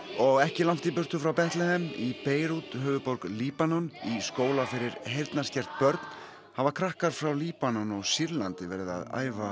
og ekki langt í burtu frá Bethlehem í Beirút höfuðborg Líbanons í skóla fyrir heyrnarskert börn hafa krakkar frá Líbanon og Sýrlandi verið að æfa